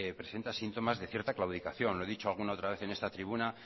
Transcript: presenta síntomas de cierta claudicación lo he dicho alguna otra vez en esta tribuna